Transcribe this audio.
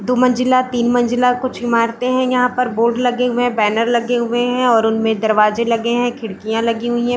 दो मंजिला तीन मंजिला कुछ इमारते है यहाँ पर बोर्ड लगे हुए है बैनर लगे हुए है और उनमे दरवाजे लगे है खिड़कियाँ लगी हुई हैं ।